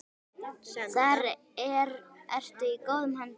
Þar ertu í góðum höndum.